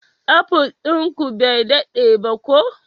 Apple din ku bai dade ba ko?